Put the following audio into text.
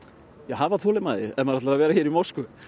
hafa þolinmæði ef maður ætlar að vera í Moskvu